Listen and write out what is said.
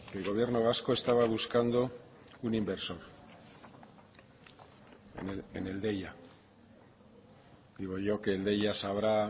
el gobierno vasco estaba buscando un inversor en el deia digo yo que el deia sabrá